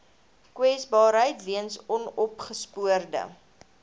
kwesbaarheid weens onopgespoorde